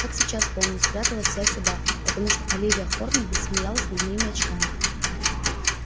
как сейчас помню спряталась я сюда потому что оливия хорнби смеялась над моими очками